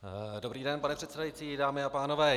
Dobrý den, pane předsedající, dámy a pánové.